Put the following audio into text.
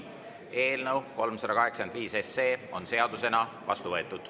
Eelnõu 385 SE on seadusena vastu võetud.